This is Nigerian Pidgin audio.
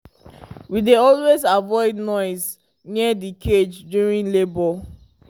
we dey always avoid noise near the cage during labour